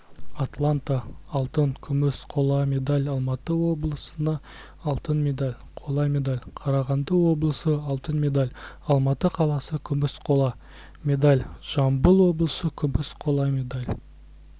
атланта алтын күміс қола медаль алматы облысыа алтын медаль қола медаль қарағанды облысы алтын медаль алматы қаласы күміс қола медаль жамбыл облысы күміс қола медаль